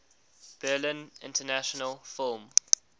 berlin international film